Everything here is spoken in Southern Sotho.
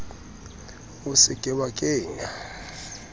o se ke wa kenya